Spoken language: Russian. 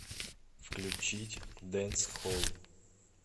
включить дэнсхолл